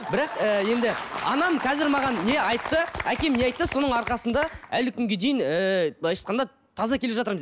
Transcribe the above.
бірақ ііі енді анам қазір маған не айтты әкем не айтты соның арқасында әлі күнге дейін ііі былайша айтқанда таза келе жатырмыз